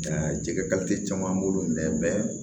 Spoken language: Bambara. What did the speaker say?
Aa jɛgɛ caman bolo mɛ